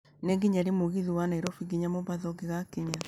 Nĩ nginya rĩ mũgithi wa Nairobi nginya mombatha ũngĩgakinya